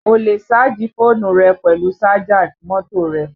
O lè sáàjì fóònù rẹ pẹ̀lú sájà mọ́tò rẹ